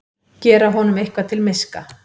Gera honum eitthvað til miska!